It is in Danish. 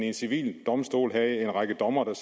en civil domstol havde en række dommere der